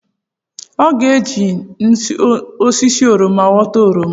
Ọ ga-eje n’osisi oroma ghọta oroma?